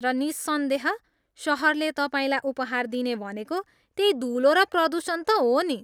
र निस्सन्देह, सहरले तपाईँलाई उपहार दिने भनेको त्यै धुलो र प्रदुषण त हो नि।